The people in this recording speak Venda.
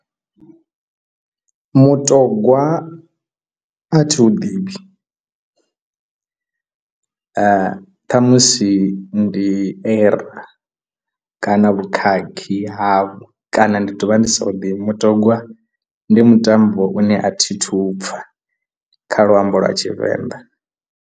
Mutogwa a thi hu ḓivhi ṱhamusi ndi errro kana vhukhakhi havho kana ndi to vha ndi sa ṱoḓi mutogwa ndi mutambo une a thi thu pfha kha luambo lwa tshivenḓa